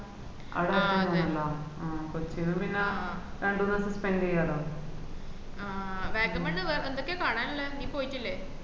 ആഹ് വാഗമണ് വേ എന്തോക്കൊ കാണാന് ഉള്ളെ നീ പോയിട്ടില്ലെ